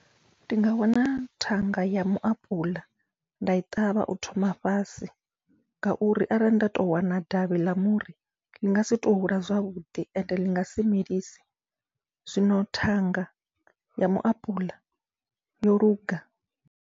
Ndi nga wana thanga ya muapuḽa nda i ṱavha u thoma fhasi, ngauri arali nda to wana davhi ḽa muri ḽi ngasi to hula zwavhuḓi ende ḽi ngasi melise, zwino thanga ya muapuḽa yoluga.